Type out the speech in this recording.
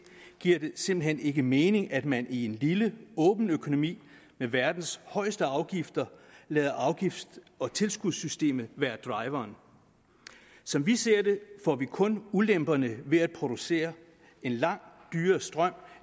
giver det simpelt hen ikke mening at man i en lille åben økonomi med verdens højeste afgifter lader afgifts og tilskudssystemet være driveren som vi ser det får man kun ulemperne ved at producere en langt dyrere strøm